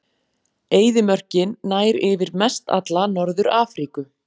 Eyðimörkin nær yfir mestalla Norður-Afríku.